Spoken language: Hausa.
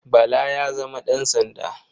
Bala ya zama ɗansanda.